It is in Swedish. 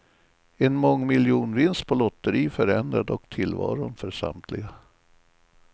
En mångmiljonvinst på lotteri förändrar dock tillvaron för samtliga.